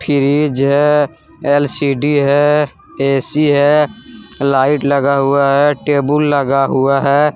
Fridge है LCD है AC है लाइट लगा हुआ है टेबुल लगा हुआ है।